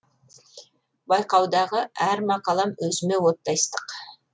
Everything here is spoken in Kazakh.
байқаудағы әр мақалам өзіме оттай ыстық